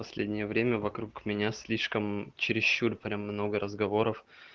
последнее время вокруг меня слишком чересчур прям много разговоров